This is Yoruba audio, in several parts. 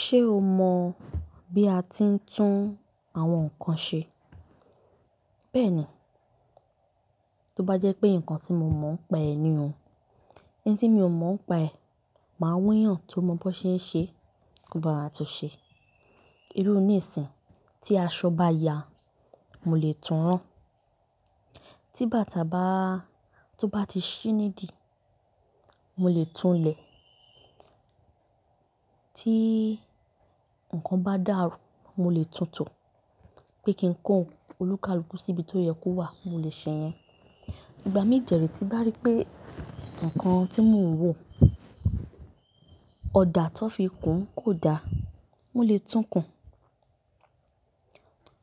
Ṣé o mọ bí a ti ń tún àwọn nǹkan ṣe? Bẹ́ẹ̀ni. Tóbájẹ́ pé nǹkan tí mo mọ̀ nipa ẹ ni o, N tí mi ò mọ̀ nipa ẹ, màá wa eeyàn tó mọ bó ṣe ń ṣe kó bawa tun ṣe. Irú nìsìn tí aṣọ bá ya, mo lè tun rán. Tí bàtà bá, tó bá ti ṣí nídìí, mo lè tunlẹ̀. Tí nǹkan bá dàrú, mo lè tuntò. Pé kí n kó olúkalùkù síbi tó yẹ kó wà, mo lè ṣe yẹn. Ìgbà mí dẹ̀ re ti bá rí pé nǹkan tí mò ń wọ, ọ̀dà tó fi kún kò da, mò lè tún kùn.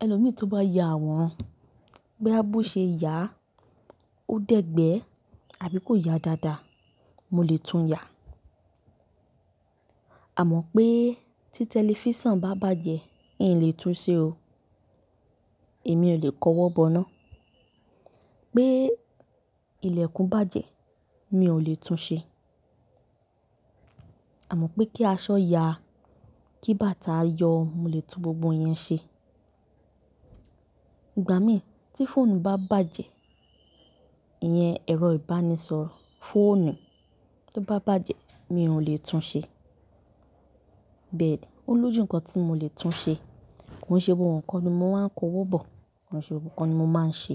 Ẹlomí tó bá ya àwọ̀ran, bóya bó ṣe yà á, ó dẹgbẹ àbí kò ya dáadáa, mo lè tún yà á. Àmọ́ pé tí tẹlifísàn bá bàjẹ́, n o le tún ṣẹ o. Èmi ò lè kọwọ́ bọ ná. Pé ilẹ̀kùn bàjẹ́, mi ò lè tún ṣẹ. Àmọ́ pé kí aṣọ ya, kí bàtà yọ, mo lè tún gbogbo yẹn ṣe. Ìgbà mí tí fóònù bá bàjẹ́, ìyẹn ẹ̀rọ ìbánisọ̀rọ̀, fóònù tó bá bàjẹ́, mi ò lè tún ṣẹ. Bẹ́ẹ̀ni, ó lójú nǹkan tí mo lè tún ṣe. Kò ṣe gbogbo ńkan ni mò maa n kọwọ́ bọ̀, kò ṣe gbogbo ńkan ni mò máa ń ṣe.